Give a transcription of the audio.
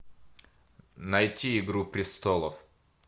найти игру престолов